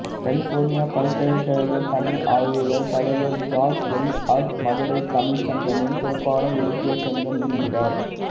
California பல்கலைக்கழகத் தமிழ் ஆய்வுகள் தலைவர் ஜார்ஜ் எல் ஹார்ட் மதுரைச் தமிழ்ச்சங்கமே சிறப்பான இலக்கியச் சங்கம் என்கிறார்